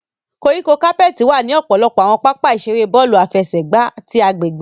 Koríko capeti wa ni ọpọlọpọ awọn papa-iṣere bọọlu afẹsẹgba ti agbegbe.